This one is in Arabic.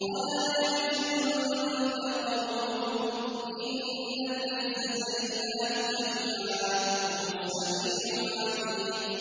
وَلَا يَحْزُنكَ قَوْلُهُمْ ۘ إِنَّ الْعِزَّةَ لِلَّهِ جَمِيعًا ۚ هُوَ السَّمِيعُ الْعَلِيمُ